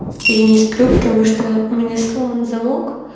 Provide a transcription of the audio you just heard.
я не сплю потому что у меня сломан замок